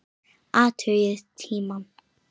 Athugið tímann.